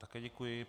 Také děkuji.